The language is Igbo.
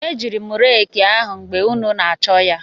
Ejiiri m reeki ahụ mgbe ụnụ na-achọ ya.